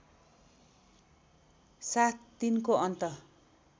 साथ तिनको अन्त